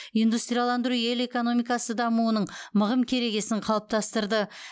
индустрияландыру ел экономикасы дамуының мығым керегесін қалыптастырды